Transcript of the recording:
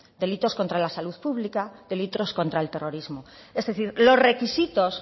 delitos contra la salud pública delitos contra el terrorismo es decir los requisitos